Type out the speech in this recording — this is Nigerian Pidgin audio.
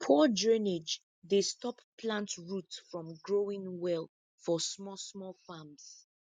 poor drainage dey stop plant root from growing well for small small farms